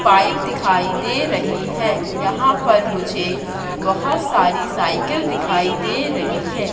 Pipe दिखाई दे रहीं हैं यहाँ पर मुझे बहोत सारी साइकल दिखाई दे रहीं हैं।